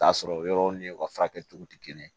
Taa sɔrɔ yɔrɔw ni u ka furakɛliw tɛ kelen ye